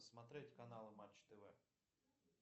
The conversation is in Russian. смотреть каналы матч тв